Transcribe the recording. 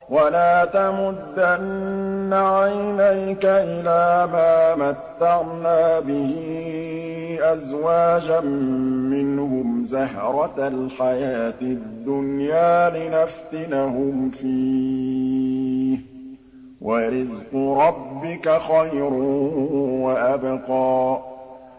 وَلَا تَمُدَّنَّ عَيْنَيْكَ إِلَىٰ مَا مَتَّعْنَا بِهِ أَزْوَاجًا مِّنْهُمْ زَهْرَةَ الْحَيَاةِ الدُّنْيَا لِنَفْتِنَهُمْ فِيهِ ۚ وَرِزْقُ رَبِّكَ خَيْرٌ وَأَبْقَىٰ